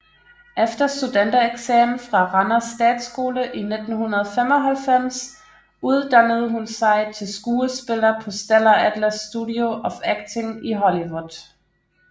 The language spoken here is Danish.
Efter studentereksamen fra Randers Statsskole i 1995 uddannede hun sig til skuespiller på Stella Adler Studio of Acting i Hollywood